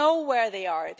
We know where they are.